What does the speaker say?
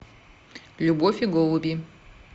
любовь и голуби